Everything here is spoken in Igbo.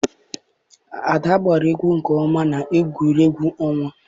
Ada agba egwu nke oma na egwuregwu onwa.